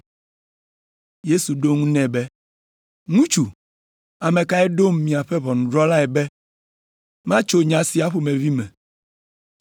Yesu ɖo eŋu nɛ be, “Ŋutsu, ame kae ɖom miaƒe ʋɔnudrɔ̃lae be matso nya sia ƒomevi me?”